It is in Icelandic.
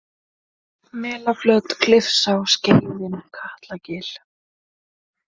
Melaflöt, Klifsá, Skeiðin, Katlagil